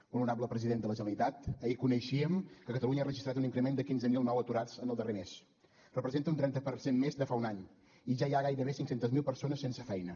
molt honorable president de la generalitat ahir coneixíem que catalunya ha registrat un increment de quinze mil nous aturats en el darrer mes representa un trenta per cent més de fa un any i ja hi ha gairebé cinc cents miler persones sense feina